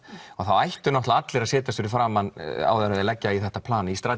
þá ættu allir að setjast fyrir framan áður en þeir leggja í þetta plan í